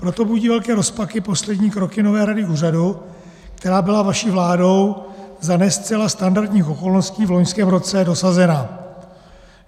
Proto budí velké rozpaky poslední kroky nové rady úřadu, která byla vaší vládou za ne zcela standardních okolností v loňském roce dosazena.